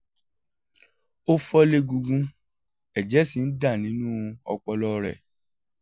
ó fọ́ légungun ẹ̀jẹ̀ sì ń dà nínú ọpọlọ rẹ̀